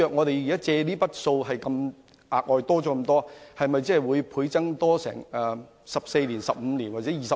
倘若債項再要大幅增加，還款期會否延長至14年、15年還是20年？